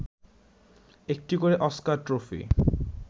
একটি করে Oscar trophy